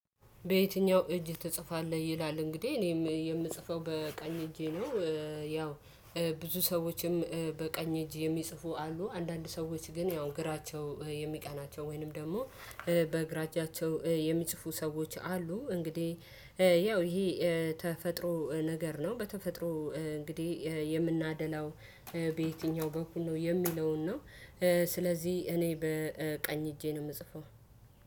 በየትኛው እጅ ትጽፋለህ? ይላል እንግዲህ እኔም የምጽፈው በቀኝ እጄ ነው። ያው ብዙ ሰዎችም በቀኝ እጅ የሚጽፉ አሉ አንዳንድ ሰዎች ግን ያው ግራቸው የሚቀናቸው ወይንም ደግሞ በግራ እጃቸው የሚጽፉ ሰዎች አሉ። እንግዲህ ያው ይሄ ተፈጥሮ ነገር ነው። በተፈጥሮ እንግዲህ የምናደላው በየትኛው በኩል ነው የሚለውን ነው። ስለዚህ እኔ በቀኝ እጄ ነው የምጽፈው።